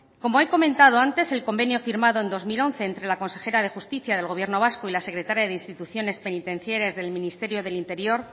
como he comentado antes el convenio firmado en dos mil once entre la consejera de justicia del gobierno vasco y la secretaria de instituciones penitenciarias del ministerio del interior